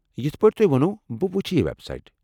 یتھہٕ پٲٹھۍ تۄہہِ ووٚنو ،بہٕ وُچھہٕ یہ وٮ۪ب سایٹ ۔